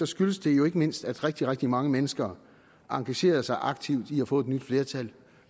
skyldes det jo ikke mindst at rigtig rigtig mange mennesker engagerede sig aktivt i at få et nyt flertal